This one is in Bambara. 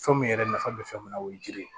Fɛn min yɛrɛ nafa bɛ fɛn mun na o ye jiri ye